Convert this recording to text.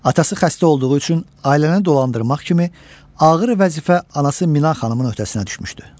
Atası xəstə olduğu üçün ailəni dolandırmaq kimi ağır vəzifə anası Mina xanımın öhdəsinə düşmüşdü.